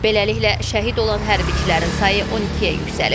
Beləliklə, şəhid olan hərbçilərin sayı 12-yə yüksəlib.